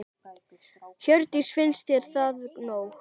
Hjördís: Finnst þér það nóg?